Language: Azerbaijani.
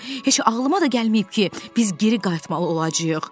Heç ağlıma da gəlməyib ki, biz geri qayıtmalı olacağıq.